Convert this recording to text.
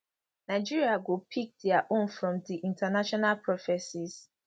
nigeria go pick dia own from di international prophecies